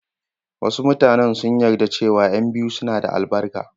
Wasu mutanen sun yarda cewa ƴan biyu suna da albarka.